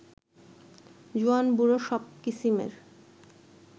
জোয়ান-বুড়ো সব কিসিমের